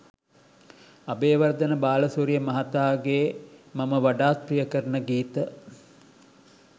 අබේවර්ධන බාලසූරිය මහතාගේ මම වඩාත් ප්‍රිය කරන ගීත